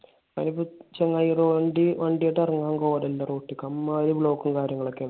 അതിപ്പോ ചങ്ങായി ഒരു വണ്ടിവണ്ടിയായിട്ട് ഇറങ്ങാൻ road ലേക്ക്. അമ്മാതിരി block ഉം കാര്യങ്ങളും ഒക്കെയാണ്.